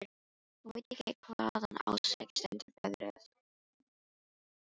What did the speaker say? Hún veit ekki hvaðan á sig stendur veðrið.